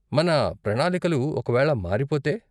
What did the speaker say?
మన ప్రణాలికలు ఒక వేళ మారిపోతే?